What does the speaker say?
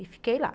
E fiquei lá.